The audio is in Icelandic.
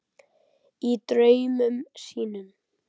Í draumum sínum.